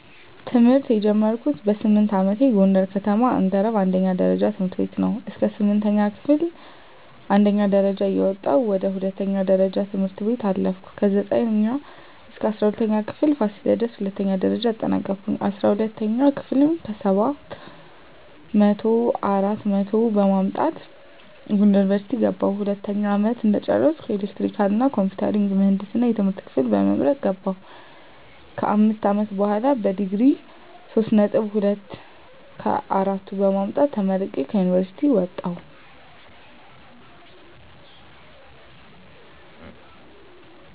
ትምህርት የጀመርኩት በስምንት አመቴ ጎንደር ከተማ አንገረብ አንደኛ ደረጃ ትምህርት ቤት ነው። እስከ ስምንተኛ ክፍል አንደኛ ደረጃ እየወጣሁ ወደ ሁለተኛ ደረጃ ትምህርት ቤት አለፍኩ። ከዘጠኝ እስከ እስራ ሁለተኛ ክፍል ፋሲለደስ ሁለተኛ ደረጃ አጠናቀኩኝ። አስራ ሁለተኛ ክፍል ከሰባት መቶው አራት መቶ አራት በማምጣት ጎንደር ዩኒቨርሲቲ ገባሁ። ሁለተኛ አመት እንደጨረስኩ ኤሌክትሪካል እና ኮምፒውተር ምህንድስና የትምህርት ክፍል በመምረጥ ገባሁ። ከአምስት አመት በሆላ በዲግሪ ሶስት ነጥብ ሁለት ከአራቱ በማምጣት ተመርቄ ከዩኒቨርሲቲ ወጣሁ።